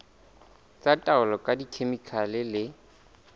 tsa taolo ka dikhemikhale le